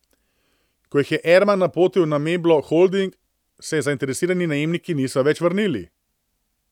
Ko jih je Erman napotil na Meblo Holding, se zainteresirani najemniki niso več vrnili.